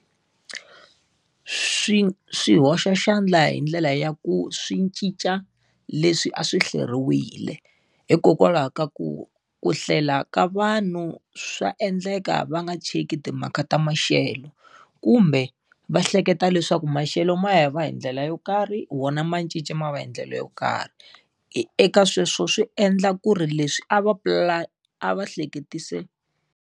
Swi swi hoxa xandla hi ndlela ya ku swi cinca leswi a swi hleriwile. Hikokwalaho ka ku ku hlela ka vanhu swa endleka va nga cheki timhaka ta maxelo, kumbe va hleketa leswaku maxelo ma ya va hi ndlela yo karhi wona ma cinca ma va hi ndlela yo karhi. Eka sweswo swi endla ku ri leswi a va pulane a va hleketise.